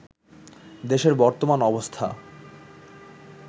দেশের বর্তমান অবস্থা